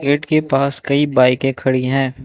Gate के पास कई बाईकें खड़ी हैं।